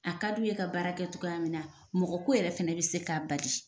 A ka d'u ye ka baara kɛ cogoya min na, mɔgɔ ko yɛrɛ fana bɛ se k'a bali.